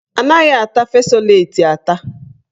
Anaghị ata fesoleti ata.